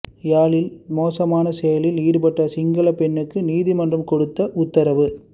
யாழில் மோசமான செயலில் ஈடுபட்ட சிங்களப் பெண்ணுக்கு நீதிமன்றம் கொடுத்த உத்தரவு